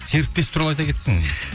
серіктес туралы айта кетсең